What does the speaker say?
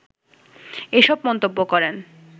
এসব মন্তব্য করেন